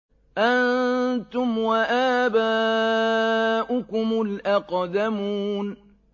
أَنتُمْ وَآبَاؤُكُمُ الْأَقْدَمُونَ